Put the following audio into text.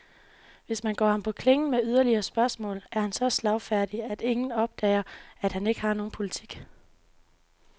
Hvis man går ham på klingen med yderligere spørgsmål, er han så slagfærdig, at ingen opdager, at han ikke har nogen politik.